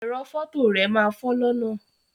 Ẹrọ fọto rẹ máa fọ lọnà.